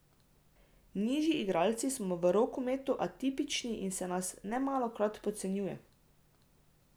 Nižji igralci smo v rokometu atipični in se nas nemalokrat podcenjuje.